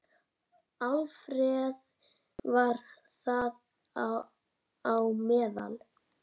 Alfreð var þar á meðal.